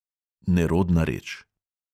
Nerodna reč.